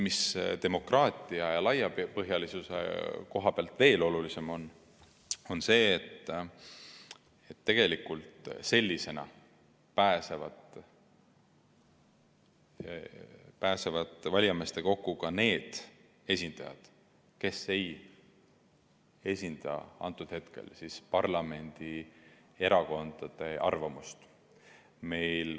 Mis demokraatia ja laiapõhjalisuse koha pealt veel olulisem on, on see, et tegelikult sellisena pääsevad valijameeste kokku ka need esindajad, kes ei esinda antud hetkel parlamendierakondade arvamust.